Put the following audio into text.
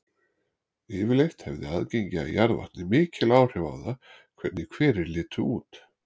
Yfirleitt hefði aðgengi að jarðvatni mikil áhrif á það hvernig hverir litu út.